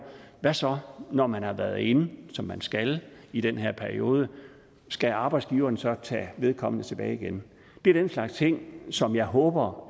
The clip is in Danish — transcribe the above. hvad så når man har været inde som man skal i den her periode skal arbejdsgiveren så tage vedkommende tilbage igen det er den slags ting som jeg håber